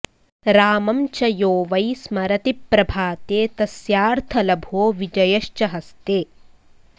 रामं च यो वै स्मरति प्रभाते तस्यार्थलभो विजयश्च हस्ते